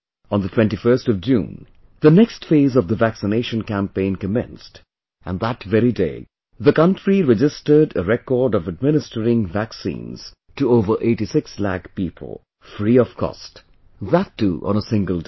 On the 21st of June, the next phase of the vaccination campaign commenced...and that very day, the country registered a record of administering vaccines to over 86 lakh people, free of cost...that too on a single day